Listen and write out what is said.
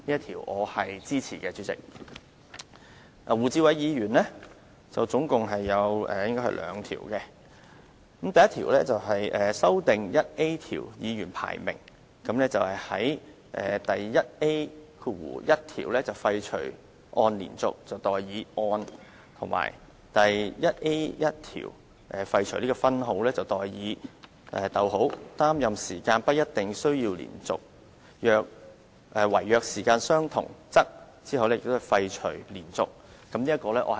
胡志偉議員也提出了兩項修訂，第1項是修訂第 1A 條，在第 1A1 條廢除"按連續"而代以"按"，以及廢除分號而代以"，擔任時間不一定需要連續；惟若時間相同，則"，在第 1A2 條則廢除"連續"。